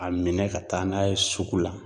A minɛ ka taa n'a ye sugu la